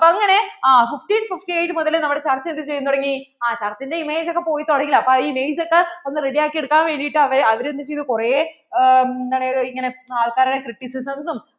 ആ മുതലേ നമ്മടെ church എന്തു ചെയ്യാൻ തുടങ്ങി ആ church ന്‍റെ image ഒക്കെ പോയ് തുടങ്ങിയിലെ അപ്പോൾ ആ image ഒക്കെ ഒന്ന് ready ആക്കി എടുക്കാൻ വേണ്ടിട്ട് അവർ എന്ത് ചെയ്തു കുറേ കുറേ എന്താണ് ആള്‍ക്കാരെ criticism ഉം